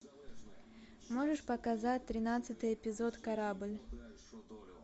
можешь показать тринадцатый эпизод корабль